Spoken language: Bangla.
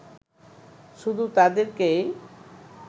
শুধু তাদেরকেই